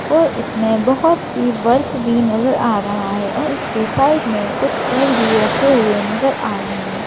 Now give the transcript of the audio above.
और इसमें बहुत सी वर्क भी नजर आ रहा है और इसके साइड में कुछ फूल भी रखे हुए नजर आ रहे हैं।